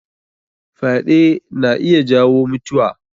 Fyaɗe na iya jawo mutiwa.